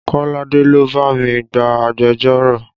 Kolade ló bá mi gba agbẹjọ́rò